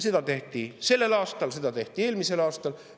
Seda tehti sellel aastal, seda tehti eelmisel aastal.